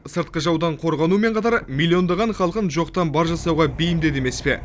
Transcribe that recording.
сыртқы жаудан қорғанумен қатар миллиондаған халқын жоқтан бар жасауға бейімдеді емес пе